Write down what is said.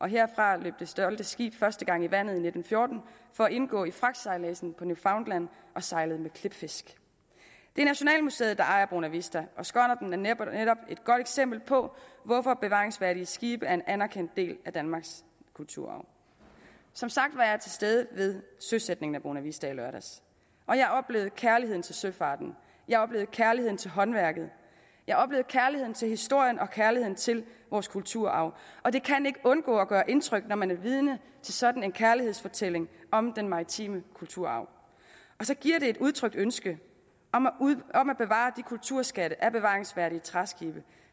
herfra løb det stolte skib første gang i vandet i nitten fjorten for at indgå i fragtsejladsen på newfoundland og sejlede med klipfisk det er nationalmuseet der ejer bonavista og skonnerten er netop et godt eksempel på hvorfor bevaringsværdige skibe er en anerkendt del af danmarks kulturarv som sagt var jeg til stede ved søsætningen af bonavista i lørdags og jeg oplevede kærligheden til søfarten jeg oplevede kærligheden til håndværket jeg oplevede kærligheden til historien og kærligheden til vores kulturarv og det kan ikke undgå at gøre indtryk når man er vidne til sådan en kærlighedsfortælling om den maritime kulturarv og så giver det et udtrykt ønske om at bevare de kulturskatte af bevaringsværdige træskibe